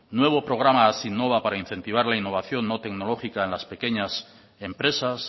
nuevo programa hazinnova para incentivar la innovación no tecnológica en las pequeñas empresas